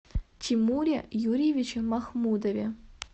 тимуре юрьевиче махмудове